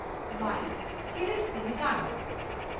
byte Kiritsinh Rana